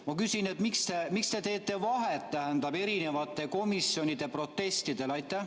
Ma küsin: miks te teete vahet, tähendab, erinevate komisjonide protestidel?